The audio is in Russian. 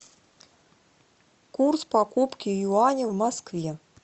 курс покупки юаня в москве